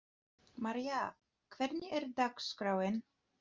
María, hvernig er dagskráin?